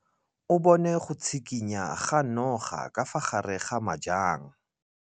O bone go tshikinya ga noga ka fa gare ga majang.